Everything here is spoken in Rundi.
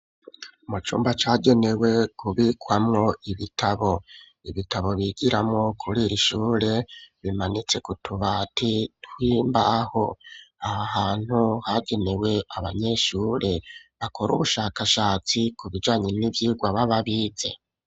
Mu cumba cagenewe kubikwamwo ibitabo, ibitabo bigiramwo kuriri shure bimanitse kutubati twimbaho ,ahahantu hagenewe abanyeshure bakora ubushakashatsi ku bijanye n'ivyigwa bababize.